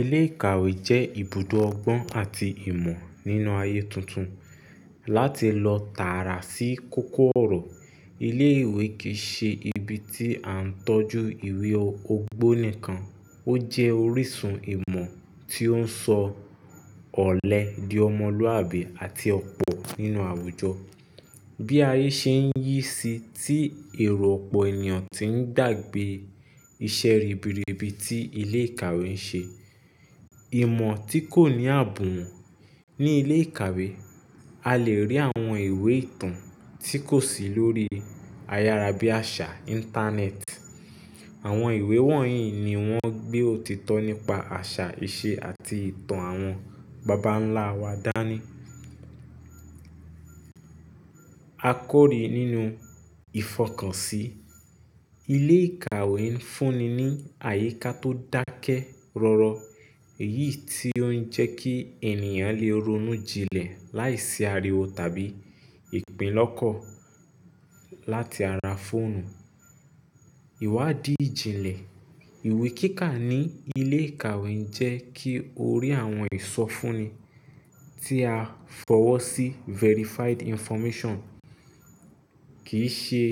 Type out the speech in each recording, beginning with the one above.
Ilé ìkàwé jẹ́ ibùdó ọgbọ́n àti ìmọ̀ nínú ayé tuntun. Látí lọ tààrà sí kókó ọ̀rọ̀, ilé ìwé kìí ṣe ibi tí à ń tọ́jú ìwé ogbó nìkan, ó jẹ́ orísun ìmọ̀ tí ó ń sọ ọ̀lẹ di ọmọlúwàbí àti ọ̀pọ̀ nínú àwùjọ. Bí ayé ṣe ń yí si tí èrò ọ̀pọ̀ ènìyàn tí ń gbàgbé iṣẹ́ ribiribi tí ilé ìkàwé ń ṣe. Ìmọ̀ tí kò ní àbùn wọ́n. Ni ilé ìkàwé a lè rí àwọn ìwé ìtàn tí kò sí lórí ayárabíàṣà íńtánẹ́ẹ̀tì. Àwọn ìwé wọ̀nyí ni wọ́n gbé òtítọ́ nípa àṣà, ìṣe àti ìtàn àwọn bàbá ńlá wa dání. A kórìí nínú ìfọkànsí. Ilé ìkàwé ń fúnni ní àyíká tó dákẹ́ rọ́rọ́ èyí tí ó ń jẹ́ kí ènìyàn lè ronú jinlẹ̀ láìsí ariwo tàbí ìpínlọ́kọ̀ láti ara fóònù. Iwadi ijinle iwe kika ni ile ikawe je ki ori awon ee so fun ni ti aa fi owo si verified information kì í ṣe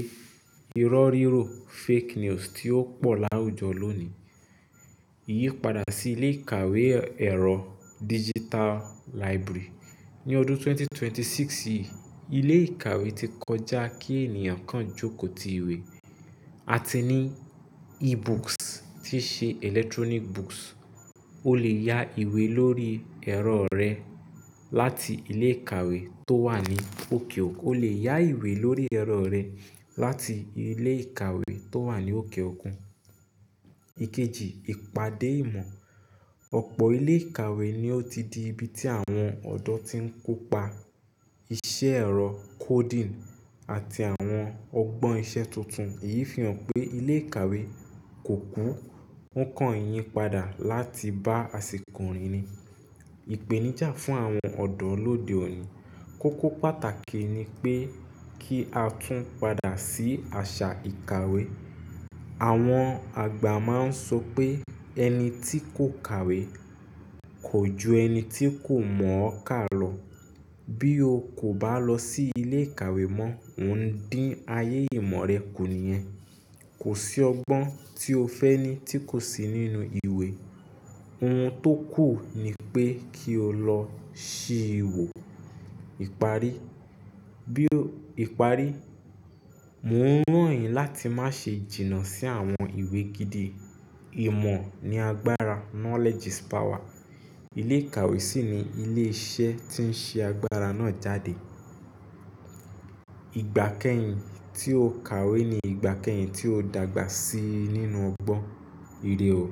irọ́ríro fake news tí ó pò láwùjọ lónìí. Yípadà sí ilé ìkàwé ẹ̀rọ digital library. Ni ọdún 2026 yìí, ilé ìkàwé ti kọjá kí ènìyàn kan jókòó ti ìwé. A ti ní e-books tí ṣe electronic books. O lè ya ìwé lórí ẹ̀rọ rẹ láti ilé ìkàwé tó wà ní òkè òkun. O lè ya ìwé lórí ẹ̀rọ rẹ láti ilé ìkàwé tó wà ní òkè òkun. Ikeji ipade imo. Ọ̀pọ̀ ilé ìkàwé ni ó ti di ibi tí àwọn ọ̀dọ́ tí ń kópa iṣẹ́ ẹ̀rọ coding àti àwọn ọgbọ́n iṣẹ́ tuntun. Èyí fi hàn pé ilé ìkàwé kò kú, ó ń kàn yípadà láti bá àsìkò rìn ni. Ìpèníjà fún àwọn ọ̀dọ́ lóde òní. Kókó pàtàkì ni pé kí a tún padà sí àṣà ìkàwé. Awon agba mma n so pe eni ti ko kawe kò ju ẹni tí kò mọ ọ́ ká lọ. Bí o kò bá lọ sí ilé ìkàwé mọ́, ò ń dín ayé ìmọ̀ rẹ kù nìyẹn. Kò sí ọgbọ́n tí o fẹ́ ní tí kò sí nínú ìwé. Ohun tó kù ni pé kí o lọ ṣí i wò. Ìparí, bí o, ìparí, mò ń ràn yín láti má ṣe jìnnà sí àwọn ìwé gidi. Ìmọ̀ ni agbára knowledge is power. Ilé ìkàwé sì ni ilé iṣẹ́ tí ń ṣe agbára náà jáde. Ìgbà kẹ́yìn tí o kàwé ni ìgbà kẹ́yìn tí o dàgbà si nínú ọgbọ́n. Írè ó.